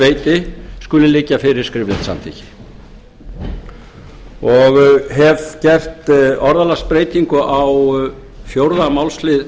veiti skuli liggja fyrir skriflegt samþykki og hef gert orðalagsbreytingu á fjórða málslið